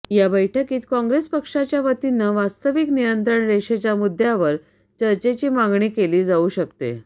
या बैठकीत काँग्रेस पक्षाच्यावतीनं वास्तविक नियंत्रण रेषेच्या मुद्यावर चर्चेची मागणी केली जाऊ शकते